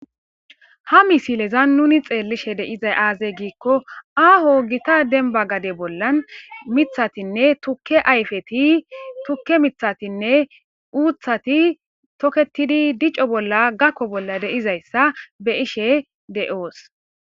Ha misileza nuni xeellishe deizay aazey giikko aaho gita denba gade bollan mithatinne tukke ayfeti tukke mithatinne uuthati toketidi dico bolla gakko bolla deizayssa be ishe de7oos.